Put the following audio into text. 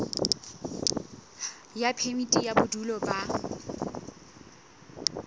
ya phemiti ya bodulo ba